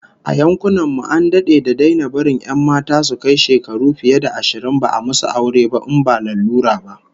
A yankunan mu an dade da daina barin 'yan mata su kai shekaru fiye da ashirin ba a musu aure ba in ba lalura ba